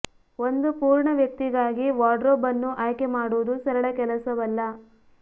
ಒಂದು ಪೂರ್ಣ ವ್ಯಕ್ತಿಗಾಗಿ ವಾರ್ಡ್ರೋಬ್ ಅನ್ನು ಆಯ್ಕೆ ಮಾಡುವುದು ಸರಳ ಕೆಲಸವಲ್ಲ